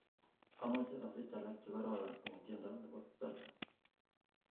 amoche asich alak chegororon en tiendo nepo salsa